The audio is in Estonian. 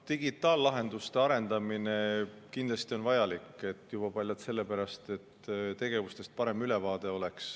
Digitaallahenduste arendamine on kindlasti vajalik paljalt sellepärast, et oleks tegevustest parem ülevaade.